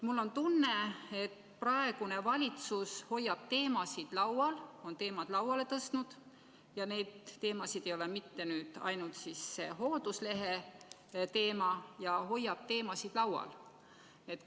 Mul on tunne, et praegune valitsus on teemad lauale tõstnud – mitte ainult selle hoolduslehe teema – ja hoiab neid laual.